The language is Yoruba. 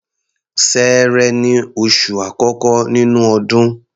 Ṣẹẹrẹ ni oṣù àkọ́kọ́ nínú ọdún.